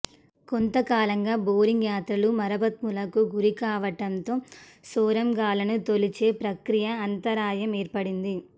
కొంతకాలంగా బోరింగ్ యంత్రాలు మరమ్మతులకు గురికావటంతో సొరంగాలను తొలిచే ప్రక్రియకు అంతరాయం ఏర్పడింది